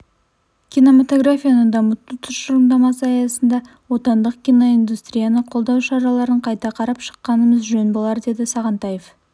кинемотографияны дамыту тұжырымдамасы аясында отандық киноиндустрияны қолдау шараларын қайта қарап шыққанымыз жөн болар деді сағынтаев